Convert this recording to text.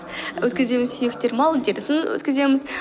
өткіземіз сүйектер малдың терісін өткіземіз